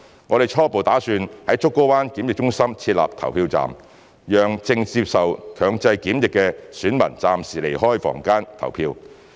我們初步打算在竹篙灣檢疫中心設立投票站，讓正接受強制檢疫的選民暫時離開房間投票。